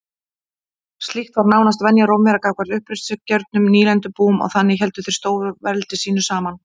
Slíkt var nánast venja Rómverja gagnvart uppreisnargjörnum nýlendubúum og þannig héldu þeir stórveldi sínu saman.